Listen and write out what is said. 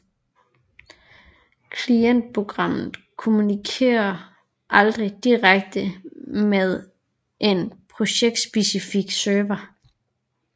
Klientprogrammet kommunikerer aldrig direkte med en projektspecifik server